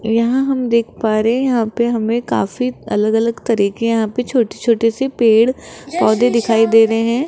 यहां हम देख पा रहे हैं यहां पे हमें काफी अलग अलग तरीके यहां पे छोटे छोटे से पेड़ पौधे दिखाई दे रहे हैं।